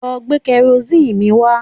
Lọ gbé kẹrosíìnì mi wá